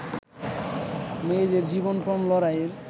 মেয়ের জীবনপণ লড়াইয়ের